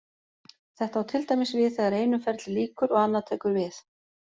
Þetta á til dæmis við þegar einu ferli lýkur og annað tekur við.